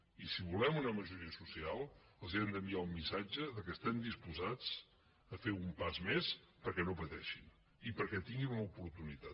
i si volem una majoria social els hem d’enviar un missatge que estem disposats a fer un pas més perquè no pateixin i perquè tinguin una oportunitat